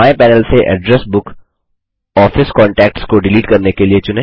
बाएँ पैनल से address book office contacts को डिलीट करने के लिए चुनें